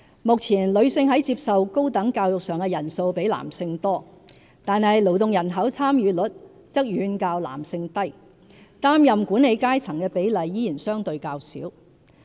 目前，女性在接受高等教育上的人數比男性多，但勞動人口參與率則遠較男性低，擔任管理階層的比例依然相對較少。